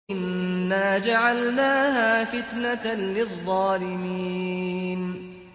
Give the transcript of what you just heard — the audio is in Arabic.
إِنَّا جَعَلْنَاهَا فِتْنَةً لِّلظَّالِمِينَ